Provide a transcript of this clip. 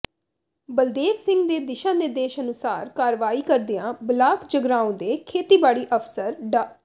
ਬਲਦੇਵ ਸਿੰਘ ਦੇ ਦਿਸ਼ਾ ਨਿਰਦੇਸ਼ਾ ਅਨੁਸਾਰ ਕਾਰਵਾਈ ਕਰਦਿਆਂ ਬਲਾਕ ਜਗਰਾਓ ਦੇ ਖੇਤੀਬਾੜੀ ਅਫ਼ਸਰ ਡਾ